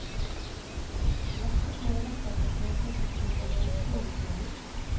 Lette småretter kan kjøpes hos sovevognskonduktøren.